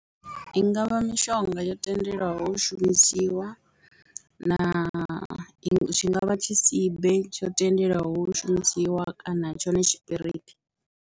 I nga vha mishonga yo tendelwaho shumisiwa na tshi nga vha tshisibe tsho tendelwaho hu shumisiwa kana tshone tshipiriṱi.